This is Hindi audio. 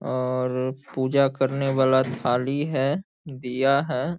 औअर पूजा करने वाला थाली है दीया है।